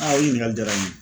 o ɲininkali jala n ye.